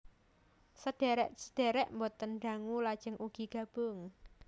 Sedhèrèk sedhèrèk boten dangu lajeng ugi gabung